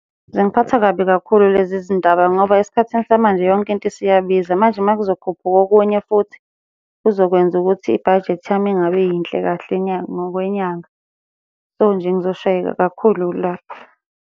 Zingiphatha kabi kakhulu lezi zindaba ngoba esikhathini samanje yonke into isiyabiza, manje uma kuzokhuphuka okunye futhi kuzokwenza ukuthi ibhajethi yami ingabi yinhle kahle inyanga ngokwenyanga. So, nje ngizoshayeka kakhulu la.